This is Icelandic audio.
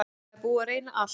Það er búið að reyna allt.